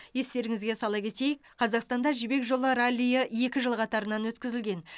естеріңізге сала кетейік қазақстанда жібек жолы раллиі екі жыл қатарынан өткізілген